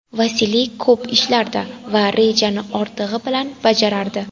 Vasiliy ko‘p ishlardi va rejani ortig‘i bilan bajarardi.